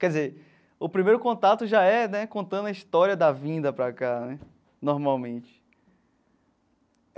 Quer dizer, o primeiro contato já é né contando a história da vinda para cá né, normalmente.